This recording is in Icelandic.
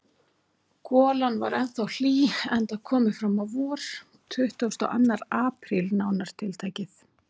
Golan var ennþá hlý, enda komið fram á vor: tuttugasti og annar apríl, nánar tiltekið.